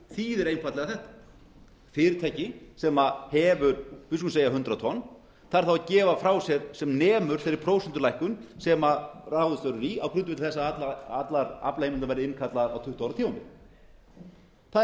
þýðir einfaldlega þetta fyrirtæki sem hefur við skulum segja hundrað tonn þarf þá að gefa frá sér sem nemur þeirri prósentulækkun sem ráðist verður í á grundvelli þess að aflaheimildir verði innkallaðar á tuttugu ára tímabili það er